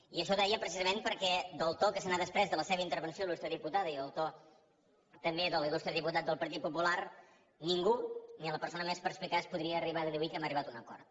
i això ho deia precisament perquè del to que s’ha desprès de la seva intervenció il·lustre diputada i del to també de l’il·lustre diputat del partit popular ningú ni la persona més perspicaç podria arribar a deduir que hem arribat a un acord